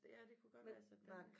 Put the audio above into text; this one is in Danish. Ja det kunne godt være jeg sendte den